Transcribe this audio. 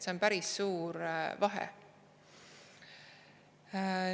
See on päris suur vahe.